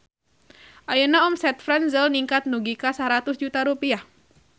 Ayeuna omset Franzel ningkat dugi ka 100 juta rupiah